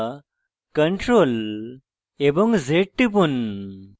অথবা ctrl এবং z টিপুন